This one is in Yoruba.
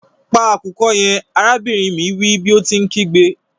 Pa akukọ yẹn! arabinrin mi wi bi o ti nkigbe.